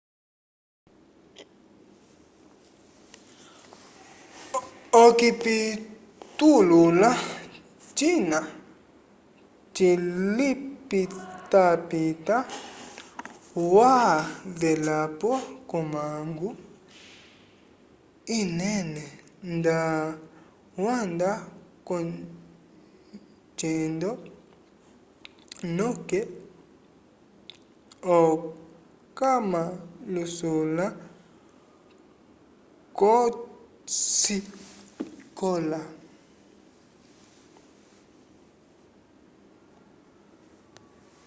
okipitulula cina cilipitapita wavelapo ko mangu inene nda wanda ko cendo noke okamalusula kosikola